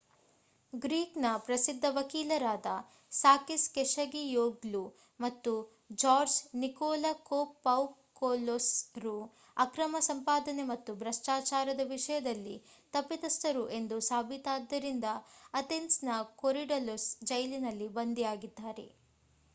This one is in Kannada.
ಗ್ರೀಕ್ ನ ಪ್ರಸಿದ್ಧ ವಕೀಲರಾದ ಸಾಕಿಸ್ ಕೆಶಗಿಯೋಗ್ಲು ಮತ್ತು ಜಾರ್ಜ್ ನಿಕೋಲಕೋಪೌಕೊಲೊಸ್ ರು ಅಕ್ರಮ ಸಂಪಾದನೆ ಮತ್ತು ಭ್ರಷ್ಟಾಚಾರದ ವಿಷಯದಲ್ಲಿ ತಪ್ಪಿತಸ್ಥರು ಎಂದು ಸಾಬೀತಾದ್ದರಿಂದ ಅಥೆನ್ಸ್ ನ ಕೊರಿಡಲುಸ್ ಜೈಲಿನಲ್ಲಿ ಬಂಧಿಯಾಗಿದ್ದಾರೆ